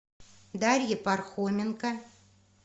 дарье пархоменко